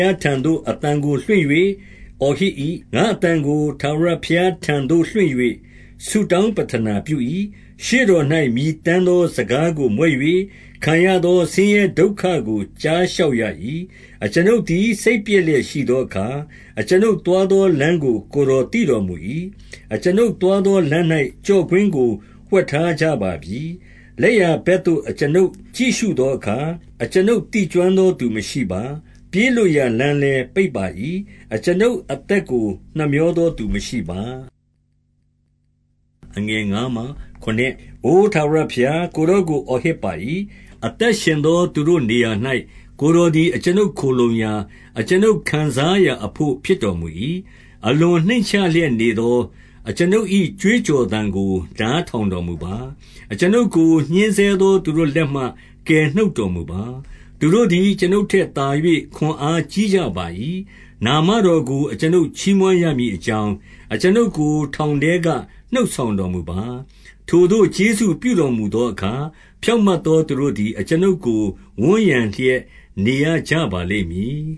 ားထံသို့ အသံကိုလွှင့်၍ အော်ဟစ်၏။ ငါ့အသံကို ထာဝရဘုရားထံသို့လွှင့်၍ ဆုတောင်းပဋ္ဌနာပြု၏။ 2 ရှေ့တော်၌ မြည်တမ်းသော စကားကို မြွက်၍၊ ခံရသောဆင်းရဲဒုက္ခကို ကြားလျှောက်ရ၏။ 3 အကျွန်ုပ်သည် စိတ်ပျက်လျက်ရှိသောအခါ ၊ အကျွန်ုပ်သွားသောလမ်းကို ကိုယ်တော်သိတော်မူ၏။ အကျွန်ုပ်သွားသောလမ်း၌ ကျော့ကွင်းကို ဝှက်ထားကြ ပါပြီ။ 4 လက်ျာဘက်သို့ အကျွန်ုပ်ကြည့်ရှုသောအခါ၊ အကျွန်ုပ်သိကျွမ်းသောသူမရှိပါ။ ပြေးလွတ်ရာလမ်းလည်း ပိတ်ပါ၏။ အကျွန်ုပ်အသက်ကို နှမြောသောသူမရှိပါ။ 5 အိုထာဝရဘုရား၊ ကိုယ်တော်ကိုအော်ဟစ်ပါ၏။ အသက်ရှင်သောသူတို့၏ နေရာ၌ကိုယ်တော်သည် အကျွန်ုပ်ခိုလှုံရာ၊ အကျွန်ုပ်ခံစားရာအဘို့ ဖြစ်တော်မူ၏။ 6 အလွန်နှိမ့်ချလျက်နေသော အကျွန်ုပ်၏ ကြွေး ကြော်သံကို နားထောင်တော်မူပါ။ အကျွန်ုပ်ကို ညှဉ်းဆဲ သောသူတို့လက်မှ ကယ်နှုတ်တော်မူပါ။ သူတို့သည် အကျွန်ုပ်ထက်သာ၍ ခွန်အားကြီးကြပါ၏။ 7 နာမတော်ကို အကျွန်ုပ်ချီးမွမ်းရမည်အကြောင်း၊ အကျွန်ုပ်ကို ထောင်ထဲကနှုတ်ဆောင်တော်မူပါ။ ထိုသို့ ကျေးဇူးပြုတော်မူသောအခါ၊ ဖြောင့်မတ်သောသူတို့သည် အကျွန်ုပ်ကို ဝန်းရံလျက်နေကြပါလိမ့်မည်